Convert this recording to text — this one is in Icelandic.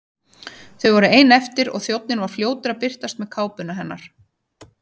Þau voru ein eftir og þjónninn var fljótur að birtast með kápuna hennar.